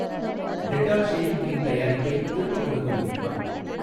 Dettol shaving cream தயாரிப்பை திருப்பிக் கொடுக்க முடியுமா?